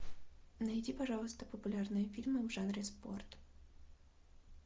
найди пожалуйста популярные фильмы в жанре спорт